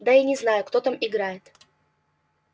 да и не знаю кто там играет